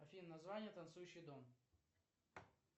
афина название танцующий дом